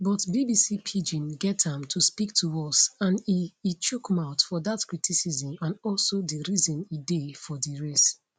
but bbc pidgin get am to speak to us and e e chook mouth for dat criticism and also di reason e dey for di race